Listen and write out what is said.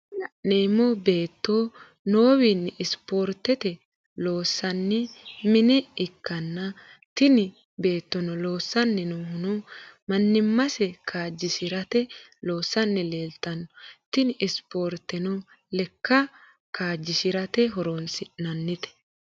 Tini lanemo betto nowino sporitette loosnisani mine ikana tini bettono loosanni noohuno manimase kajishshrate loosani lelitano tini sporiteno lekka kajishshrate horonisinanite.